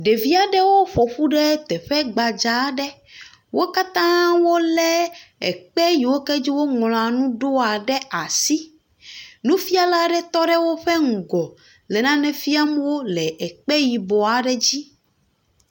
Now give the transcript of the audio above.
Ɖevi aɖewo ƒoƒu ɖe teƒe gbadza aɖe. Wo katã wolé ekpe yi dzi woŋlɔa nu ɖoa ɖe asi. Nufɛ̃ala aɖe tɔ ɖe woƒe ŋgɔ le nane fiam wo le kpe yibɔ aɖe dzi.